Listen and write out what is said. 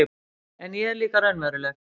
En ég er líka raunveruleg